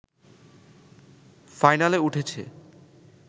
ফাইনালে উঠেছে